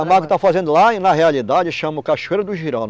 A Camargo tá fazendo lá, e na realidade chama o Cachoeira do